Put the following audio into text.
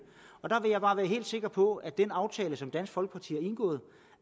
der vil jeg bare være helt sikker på at den aftale som dansk folkeparti har indgået